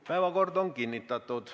Päevakord on kinnitatud.